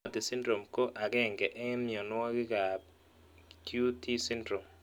Timothy Syndrome ko ag�ng� eng' mionwog''k ab QT syndrome